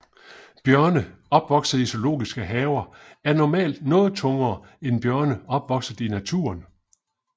Bjørne opvokset i zoologiske haver er normalt noget tungere end bjørne opvokset i naturen